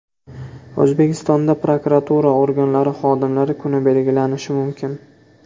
O‘zbekistonda prokuratura organlari xodimlari kuni belgilanishi mumkin.